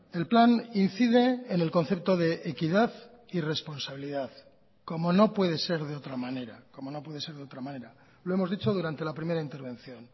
el plan incide en el concepto de equidad y responsabilidad como no puede ser de otra manera como no puede ser de otra manera lo hemos dicho durante la primera intervención